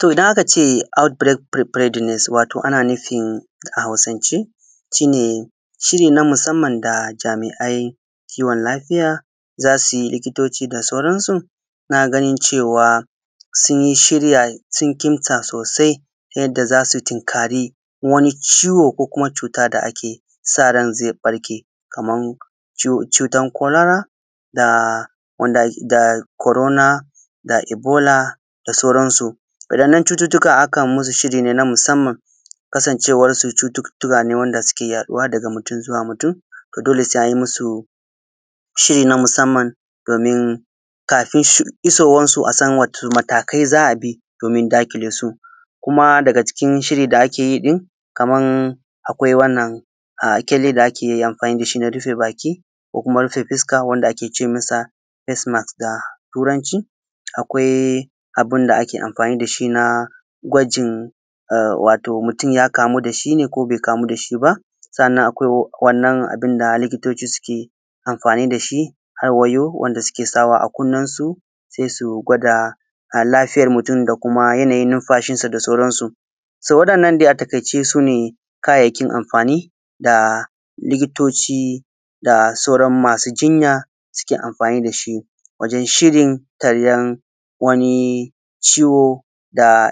To idan aka ce aut bired firi fedin, wato ana nufin a Hausance shi ne shiri na musamman da jami’a kiwon lafiya za su yi likitoci da sauransu na ganin cewa sun shirya sun kintsa sosai yadda za su tunkari wani ciwo ko cuta da ake sa ran zai barke, kaman cutan kolara da wanda, da korona, da ibola da sauransu. Wa’innan cututuka akan musu shiri na musamman, ne kasancewar su cututuka ne wanda suke yaɗuwa daga mutum zuwa mutum to dole sai anyi musu shiri na musamman domin kafin shi, isowarsu asan wani matakai za a bi domin daƙile su, kuma daga cikin shiri da ake yi din kama akwai wannan ƙyale da ake amfani dashi na rufe baki, ko kuma rufe fuska wanda ake ce mishi ( fase maks) da Turanci, akwai abinda ake amfani da shi na kwajin wato mutum ya kamu da shi ne ko be kamu dashi ba. Sannan akwai abinda likitoci suke amfani da shi har wayau, wanda suke sawa a kunninsu sai su gwada ya lafiyar mutum da kuma yana wa’innan dai a takaice su ne kayayyakin amfani da likitoci da sauran masu jinya suke amfani dashi wajen shirin taryan wani ciwo da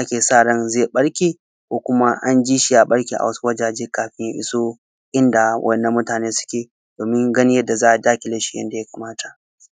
ake sa ran zai ɓarke ko kuma anji shi ya ɓarke a wasu wajaje kafin ya iso inda wannan mutane suke domin ganin yanda za a daƙile shi yanda ya kamata.s